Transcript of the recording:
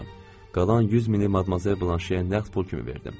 Qalan 100 mini madmazel Blanşyə nəqd pul kimi verdim.